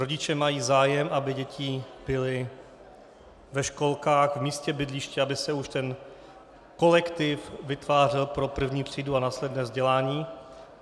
Rodiče mají zájem, aby děti byly ve školkách v místě bydliště, aby se už ten kolektiv vytvářel pro první třídu a následné vzdělání.